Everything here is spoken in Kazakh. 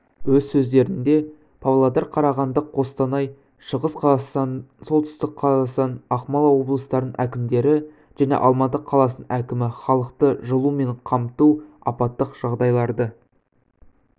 өз сөздерінде павлодар қарағанды қостанай шығыс қазақстан солтүстік қазақстан ақмола облыстарының әкімдері және алматы қаласының әкімі халықты жылумен қамту апаттық жағдайларды